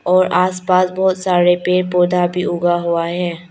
आसपास बहोत सारे पेड़ पौधा भी उगा हुआ है।